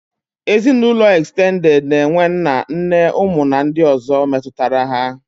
Ezinaụlọ ekstended na-enwe nna, nne, ụmụ na ndị ọ̀zọ́ metụtara ha.